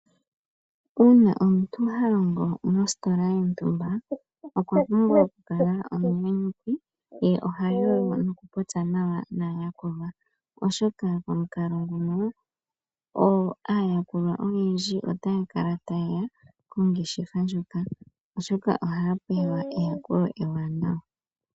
Uuna omuntu halongo mositola yontumba okwa pumbwa okukala omunyanyukwi ye ohayolo noku popya nawa naayakulwa oshoka omunkalo nguno , aayakulwa oyendji otakala tayeya kongeshefa ndjoka oshoka ohapewa eyakulo ewanawa.